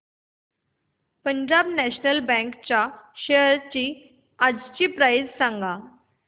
Punjab National Bank च्या shares आजची price सांगा